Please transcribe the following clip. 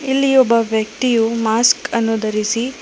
ಇಲ್ಲಿ ಒಬ್ಬ ವ್ಯಕ್ತಿಯು ಮಾಸ್ಕ್ ಅನ್ನು ಧರಿಸಿ--